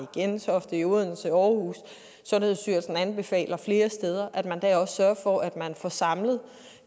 gentofte i odense i aarhus sundhedsstyrelsen anbefaler flere steder sørger for at man får samlet